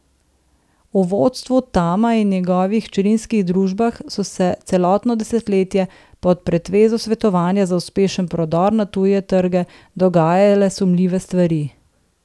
V vodstvu Tama in njegovih hčerinskih družbah so se celotno desetletje pod pretvezo svetovanja za uspešen prodor na tuje trge dogajale sumljive stvari.